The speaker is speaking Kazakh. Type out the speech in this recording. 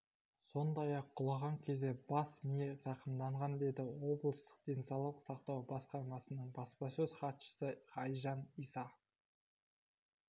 сондай-ақ құлаған кезде бас миы зақымданған деді облыстық денсаулық сақтау басқармасының баспасөз хатшысы айжан иса